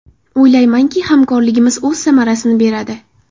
O‘ylaymanki, hamkorligimiz o‘z samarasini beradi.